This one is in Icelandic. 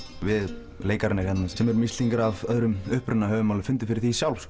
við leikararnir hérna sem erum Íslendingar af öðrum uppruna höfum alveg fundið fyrir því sjálf